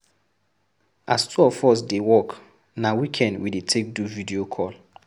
As two of us dey work, na weekend we dey take do video call.